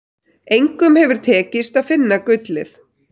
Engum hefur tekist að finna gullið.